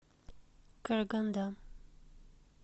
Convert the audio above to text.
караганда